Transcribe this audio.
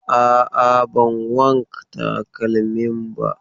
A'a, ban wank takalmin ba.